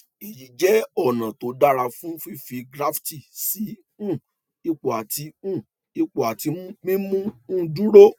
èyí jẹ ọnà tó dára fún fífi graft sí um ipò àti um ipò àti mímú un dúró